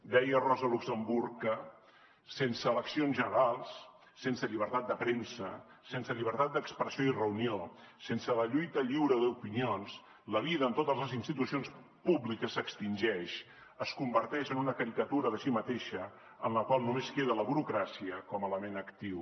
deia rosa luxemburg que sense eleccions generals sense llibertat de premsa sense llibertat d’expressió i reunió sense la lluita lliure d’opinions la vida en totes les institucions públiques s’extingeix es converteix en una caricatura de si mateixa en la qual només queda la burocràcia com a element actiu